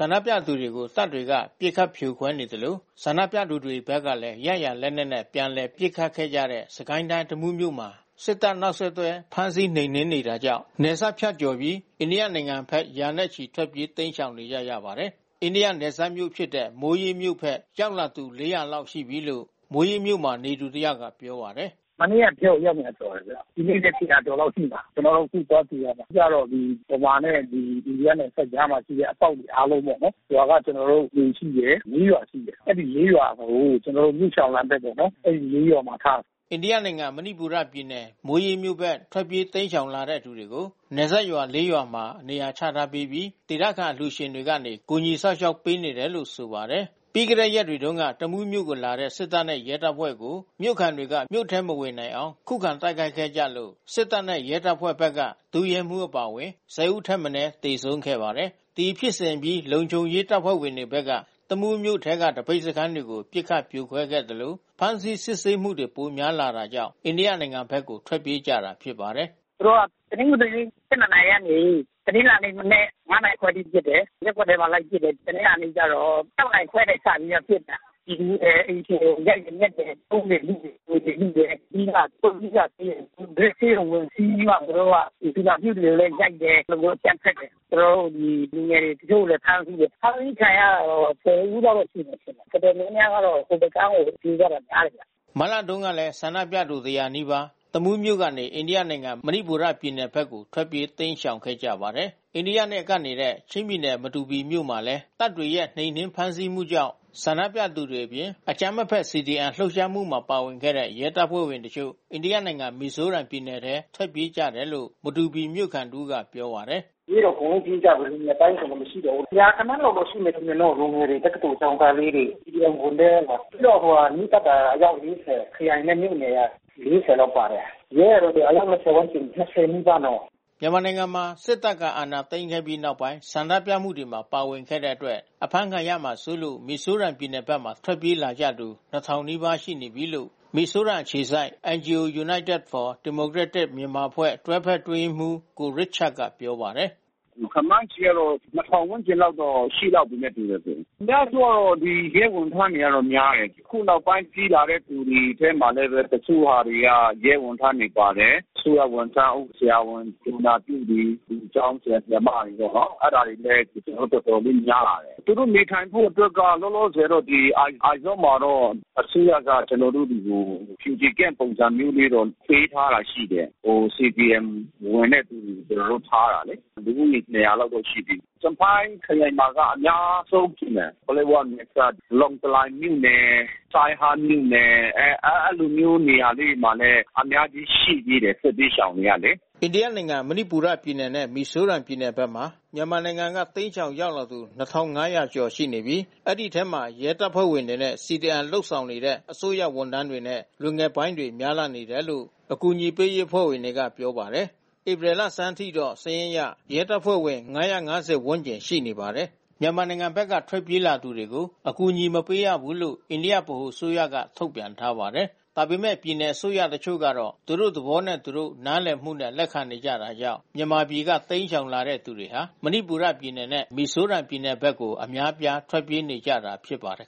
န္ဒပြသူတွေကို တပ်တွေက ပစ်ခတ်ဖြိုခွဲသလို ဆန္ဒပြသူတွေဘက်ကလည်း ရရာလက်နက်တွေနဲ့ ပြန်လည် ပစ်ခတ်ခဲ့ကြတဲ့ စစ်ကိုင်းတိုင်း တမူးမြို့မှာ စစ်တပ် နောက်ဆက်တွဲ ဖမ်းဆီးနှိမ်နင်းနေတာကြောင့် နယ်စပ်ဖြတ်ကျော်ပြီး အိန္ဒိယနိုင်ငံဘက် ရာနဲ့ချီ ထွက်ပြေးတိမ်းရှောင်နေကြပါတယ်။ အိန္ဒိယနယ်စပ်မြို့ဖြစ်တဲ့ မိုရေးမြို့ဘက် ရောက်လာသူ ၄၀၀ လောက် ရှိနေပြီလို့ မိုရေးမြို့မှာနေသူတယောက်က ပြောပါတယ်။ “မနေ့ကရောက်တာ အယောက် ၂၀၀ ကျော်တယ်ဗျ။ ဒီနေ့လည်း ၂၀၀ ကျော်လောက်ရှိမှာ။ ကျနော်တို့ အခု သွားကြိုရမှာ။ အဓိကတော့ မြန်မာနဲ့ အိန္ဒိယနဲ့နယ်စပ်ကြားမှာ ရှိတဲ့အပေါက်တွေ အားလုံးပေါ့နော်။ ရွာက ကျနော်တို့ လူရှိတယ်။ ၄ ရွာရှိတယ်။ အဲဒီ ၄ ရွာကို ကျနော်တို့ မြို့ရှောင်လမ်းဘက်ပေါ့နော်။ အဲဒီ ၄ ရွာမှာထားမှာ။ အိန္ဒိယနိုင်ငံ မဏိပူရပြည်နယ် မိုးရေးမြို့ဘက် ထွက်ပြေးတိမ်းရှောင်လာတဲ့သူတွေကို နယ်စပ်ရွာ ၄ ရွာတွေမှာ နေရာချထားပြီး ဒေသခံအလှူရှင်တွေကနေ ကူညီစောင့်ရှောက်ပေးနေတယ်လို့ ဆိုပါတယ်။ ပြီးခဲ့တဲ့ ရက်တွေတုန်းက တမူးမြို့ကို လာတဲ့ စစ်တပ်နဲ့ ရဲတပ်ဖွဲ့ကို မြို့ခံတွေက မြို့ထဲ မဝင်နိုင်အောင် ခုခံတိုက်ခိုက်ခဲ့လို့ စစ်တပ်နဲ့ ရဲတပ်ဖွဲ့ဘက်က ဒုရဲမှူးအပါအဝင် ၁၀ ဦးထက်မနည်း သေဆုံးခဲ့ပါတယ်။ ဒီဖြစ်စဉ်အပြီး လုံခြုံရေးတပ်ဖွဲ့ဝင်တွေဘက်က တမူးမြို့ထဲက သပိတ်စခန်းတွေ ပစ်ခတ်ဖြိုခွဲသလို ဖမ်းဆီးစစ်ဆေးမှုတွေ ပိုများလာတာကြောင့် အိန္ဒိယနိုင်ငံဘက်ကို ထွက်ပြေးကြတာဖြစ်ပါတယ်။ “သူတို့က တနင်္ဂနွေနေ့ ၁၂ နာရီကနေ တနင်္လာနေ့ မနက် ၅ နာရီခွဲထိ ပစ်တယ်။ ရပ်ကွက်ထဲမှာလိုက်ပစ်တယ်။ တနင်္လာနေ့ကျတော့ ၆ နာရီခွဲကနေလိုက်ပစ်တာ။ ပြည်သူတွေ အိမ်ရှင်တွေကို ရိုက်တယ်၊ နှက်တယ်။ ဖုန်းတွေ လုတယ်။ ငွေတွေ လုတယ်။ ပြီးမှ ပုဂ္ဂလိကဆေးရုံ Grace ဆေးရုံ ဝင်စီးပြီးမှ သူတို့က သူနာပြုတွေကိုလည်း ရိုက်တယ်။ အဲဒီလိုမျိုး အကြမ်းဖက်တယ်။ ကျနော်တို့ ဒီ လူငယ်တွေ တချို့ကိုလည်း ဖမ်းဆီးတယ်။ ဖမ်းဆီးခံရတာတော့ ၁၀ ဦးလောက်တော့ ရှိမယ်ထင်တယ်။ တော်တော်များများတော့ ဟိုဘက်ကမ်း(အိန္ဒိယဘက်)ကို ပြေးကြတာများတယ်ဗျ။” မတ်လတုန်းကလည်း ဆန္ဒပြသူ ၁၀၀ နီးပါး တမူးမြို့ကနေ အိန္ဒိယနိုင်ငံ မဏိပူရပြည်နယ်ဘက်ကို ထွက်ပြေးတိမ်းရှောင်ခဲ့ကြပါတယ်။ အိန္ဒိယနဲ့ ကပ်နေတဲ့ ချင်းပြည်နယ် မတူပီမြို့မှာလည်း တပ်တွေရဲ့ နှိမ်နင်း ဖမ်းဆီးမှုကြောင့် ဆန္ဒပြသူတွေအပြင် အကြမ်းမဖက် CDM လှုပ်ရှားမှုမှာ ပါဝင်တဲ့ ရဲတပ်ဖွဲ့ဝင်တချို့ အိန္ဒိယနိုင်ငံ မီဇိုရမ်ပြည်နယ်ထဲ ထွက်ပြေးကြတယ်လို့ မတူပီမြို့ခံတဦးက ပြောပါတယ်။ “ပြေးတယ်ပေါ့။ ပြေးကြတယ် လူငယ်ပိုင်းတွေဆို မရှိတော့ဘူး။ ရာဂဏန်းတော့ ရှိလိမ့်မယ်နော်လူငယ်တွေ။ တက္ကသိုလ်ကျောင်းသားလေးတွေ။ CDM ဝန်ထမ်း။ ပြီးတော့ မီးသတ်ကအယောက် ၄၀ ခရိုင်နဲ့ မြို့နယ်က ၄၀ လောက် ပါတယ်။ ရဲကတော့ အယောက် ၂၀ ဝန်းကျင်၊ ၂၀ နီးပါးနော်။” မြန်မာနိုင်ငံမှာ စစ်တပ်က အာဏာသိမ်းခဲ့ပြီးနောက်ပိုင်း ဆန္ဒပြမှုမှာ ပါဝင်တဲ့အတွက် အဖမ်းခံရမှာစိုးလို့ မီဇိုရမ်ပြည်နယ်ဘက် ထွက်ပြေးလာကြသူ ၂,၀၀၀ လောက် ရှိပြီလို့ မီဇိုရမ်အခြေစိုက် NGO United for Democratic Myanmar အဖွဲ့တွဲဖက်အတွင်းရေးမှူး ကိုရစ်ချတ်ကပြောပါတယ်။ “ခန့်မှန်းခြေကတော့ ၂,၀၀၀ ဝန်းကျင်တော့ရှိလောက်ပြီနဲ့ တူတယ်။ အများစုကတော့ရဲဝန်ထမ်းတွေက များတယ်။ အခုနောက်ပိုင်းပြေးလာတဲ့သူတွေထဲမှာလည်း တချို့ဟာတွေက ရဲဝန်ထမ်းတွေပါတယ်။ အစိုးရဝန်ထမ်း၊ ဆရာဝန်၊ သူနာပြုတွေ၊ ကျောင်းဆရာ၊ ဆရာမတွေပေါ့နော်။ အဲဒါတွေလည်း ခုတော်တော်လေး များလာတယ်။ သူတို့နေထိုင်ဖို့အတွက်ကတော့ လောလောဆယ်တော့ အိုက်ဇောလ်မှာတော့ အစိုးရက ကျနော်တို့တွေကို Refugee Camp ပုံစံမျိုးလေးနဲ့ ပေးထားတာရှိတယ်။ CDM ဝင်တဲ့သူတွေ ကျနော်တို့ ထားတယ်လေ။ လူဦးရေ ၂၀၀ လောက်တော့ ရှိပြီ။ ကျန်ဖိုင်းခရိုင်မှာက အများဆုံး ရှိမယ်။ လောင်တလိုင်မြို့နယ် စိုင်းဟန်းမြို့နယ် အဲဒီလိုမျိုးနေရာလေးတွေမှာလည်း အများကြီး ရှိသေးတယ်၊ စစ်ဘေးရှောင်တွေကလေ။” မြန်မာနိုင်ငံဘက်က ထွက်ပြေးလာသူတွေကို အကူအညီမပေးရဘူးလို့ အိန္ဒိယဗဟိုအစိုးရက ထုတ်ပြန်ထားပါတယ်။ ဒါပေမဲ့ ပြည်နယ်အစိုးရတချို့ကတော့ သူတို့ သဘောနဲ့ သူတို့ နားလည်မှုနဲ့ လက်ခံနေတာကြောင့် မြန်မာပြည်က တိမ်းရှောင်လာတဲ့သူတွေဟာ မဏိပူရပြည်နယ်နဲ့ မီဇိုရမ်ပြည်နယ်ဘက်ကို အများအပြား ထွက်ပြေးနေကြတာဖြစ်ပါတယ်